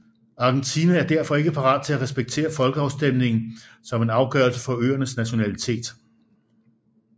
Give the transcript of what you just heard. Argentina er derfor ikke parat til at respektere folkeafstemningen som en afgørelse for øernes nationalitet